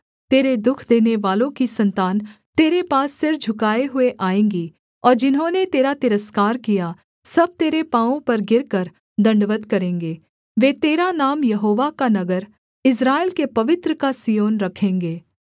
तेरे दुःख देनेवालों की सन्तान तेरे पास सिर झुकाए हुए आएँगी और जिन्होंने तेरा तिरस्कार किया सब तेरे पाँवों पर गिरकर दण्डवत् करेंगे वे तेरा नाम यहोवा का नगर इस्राएल के पवित्र का सिय्योन रखेंगे